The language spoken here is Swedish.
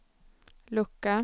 lucka